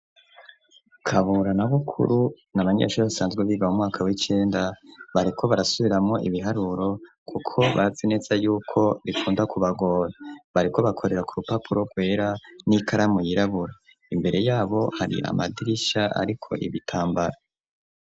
Kabura na Bukuru ni abanyeshuri basanzwe biga mumwaka w'icenda bariko barasubiramwo ibiharuro kuko bazi neza yuko bikunda kubagoba. Bariko bakorera ku rupapuro rwera n'ikaramu yirabura, imbere yabo hari amadirisha ariko ibitambara.